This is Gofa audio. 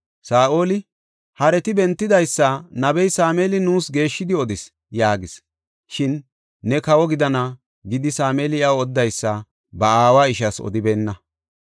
Saa7oli, “Hareti bentidaysa nabey Sameeli nuus geeshshidi odis” yaagis. Shin “Ne kawo gidana” gidi Sameeli iyaw odidaysa ba aawa ishas odibeenna.